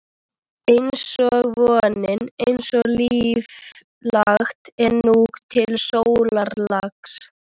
einsog vonin, einsog lífið- langt er nú til sólarlags.